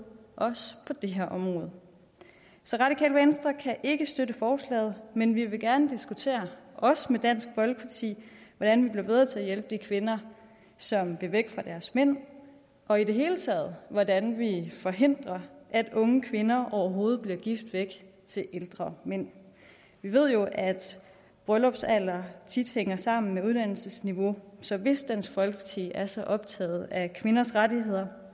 også på det her område så radikale venstre kan ikke støtte forslaget men vi vil gerne diskutere også med dansk folkeparti hvordan vi bliver bedre til at hjælpe de kvinder som vil væk fra deres mænd og i det hele taget hvordan vi forhindrer at unge kvinder overhovedet bliver gift væk til ældre mænd vi ved jo at bryllupsalder tit hænger sammen med uddannelsesniveau så hvis dansk folkeparti er så optaget af kvinders rettigheder